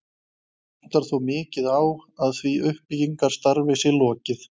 Vantar þó mikið á, að því uppbyggingarstarfi sé lokið.